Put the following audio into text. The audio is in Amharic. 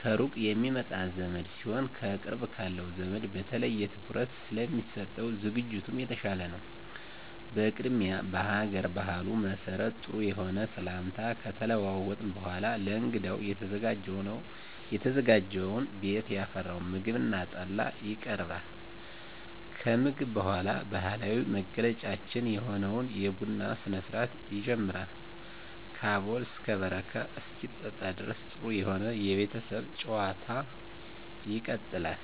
ከሩቅ የሚመጣ ዘመድ ሲሆን ከቅርብ ካለው ዘመድ በተለየ ትኩረት ስለሚሰጠው ዝግጅቱም የተሻለ ነው። በቅድሚያ በሀገር ባህሉ መሰረት ጥሩ የሆነ ሰላምታ ከተለዋወጥን በኃላ ለእንግዳው የተዘጋጀውን ቤት ያፈራውን ምግብ እና ጠላ ይቀርባል። ከምግብ በኃላ ባህላዊ መገለጫችን የሆነውን የቡና ስነስርአት ይጀመራል ከአቦል እስከ በረካ እስኪጠጣ ድረስ ጥሩ የሆነ የቤተሰብ ጭዋታ ይቀጥላል።